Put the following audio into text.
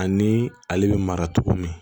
Ani ale bɛ mara cogo min